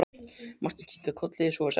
Marteinn kinkaði kolli: Svo er sagt herra.